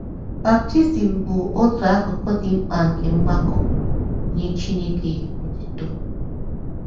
Baptizim bụ otu akụkụ dị mkpa nke mgbakọ “ Nye Chineke Otuto ”